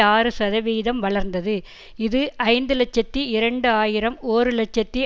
ஆறுசதவீதம் வளர்ந்தது இது ஐந்து இலட்சத்தி இரண்டு ஆயிரம் ஒர் இலட்சத்தி